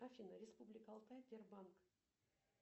афина республика алтай сбербанк